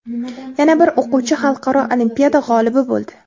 Yana bir o‘quvchi xalqaro olimpiada g‘olibi bo‘ldi.